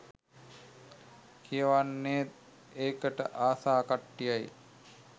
කියවන්නේත් ඒකට ආස කට්ටිය.